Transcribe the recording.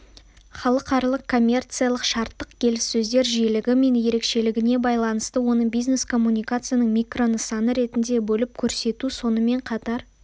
халықаралық коммерциялық-шарттық келіссөздер жиілігі мен ерекшелігіне байланысты оны бизнес-коммуникацияның микро нысаны ретінде бөліп көрсету сонымен қатар